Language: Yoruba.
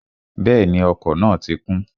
Bẹ́ẹ̀ni, ọkọ̀ náà ti kún